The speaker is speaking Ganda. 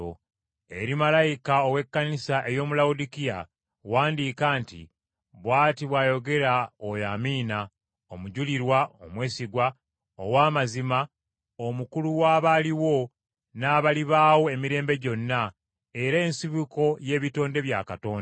“Eri malayika ow’Ekkanisa ey’omu Lawodikiya wandiika nti: Bw’ati bw’ayogera oyo Amiina, omujulirwa, omwesigwa, ow’amazima, omukulu w’abaliwo, n’abalibaawo emirembe gyonna, era ensibuko y’ebitonde bya Katonda.